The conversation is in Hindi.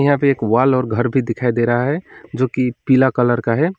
यहां पे एक वॉल और घर भी दिखाई दे रहा है जो कि पीला कलर का है।